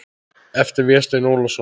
eftir Véstein Ólason